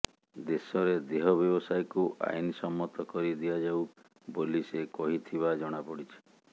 ଦେଶରେ ଦେହ ବ୍ୟବସାୟକୁ ଆଇନ ସମ୍ମତ କରି ଦିଆଯାଉ ବୋଲି ସେ କହିଥିବା ଜଣା ପଡ଼ିଛି